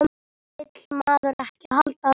Vill maður ekki alltaf meira?